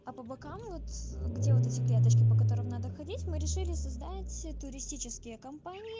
а по бокам вот где вот эти клеточки по которым надо ходить мы решили создать туристические компании